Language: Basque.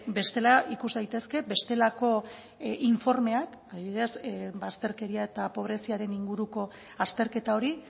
bestela ikus daitezke bestelako informeak adibidez bazterkeria eta pobreziaren inguruko azterketa hori